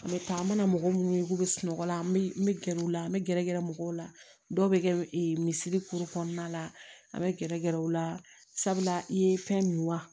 N bɛ taa an mana mɔgɔ minnu ye k'u bɛ sunɔgɔ la an bɛ n bɛ gɛrɛ u la n bɛ gɛrɛ mɔgɔw la dɔw bɛ kɛ misiri kuru kɔnɔna la an bɛ gɛrɛ gɛrɛ u la sabula i ye fɛn min wa